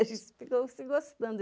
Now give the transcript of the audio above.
A gente ficou se gostando.